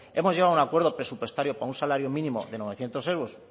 hemos llegado a un acuerdo presupuestario para un salario mínimo de novecientos euros